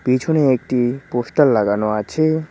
পিছনে একটি পোস্টার লাগানো আছে।